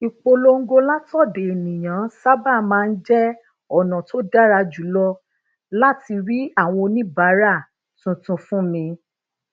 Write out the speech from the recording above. níbi tí ayaba àtọrẹ ẹ ti ń fìbọn jalè lọwọ um lagboju làwọn ọlọpàá ti kọ um wọn